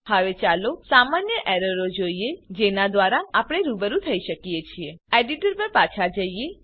હવે ચાલો સામાન્ય એરરો જોઈએ જેના દ્વારા આપણે રૂબરૂ થઇ શકીએ છીએ એડીટર પર પાછા જઈએ